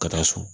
Ka taa so